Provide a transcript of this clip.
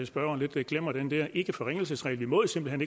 spørgeren lidt glemmer den der ikkeforringelsesregel vi må simpelt